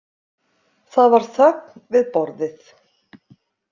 Það var þögn við borðið.